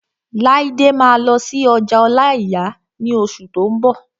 Laide máa lọ sí ọjà ọláìyà ní oṣù tó n bọ̀